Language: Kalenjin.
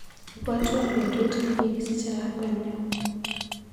Ibwatwa betut nekikisiche lakwenyu.